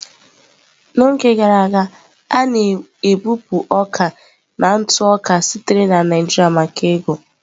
N'oge gara aga, a na-ebupụ ọka na ntụ oka sitere na Naijiria maka ego.